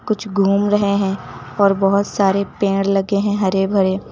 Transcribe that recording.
कुछ घूम रहे हैं और बहुत सारे पेड़ लगे हैं हरे भरे।